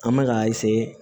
An bɛ k'a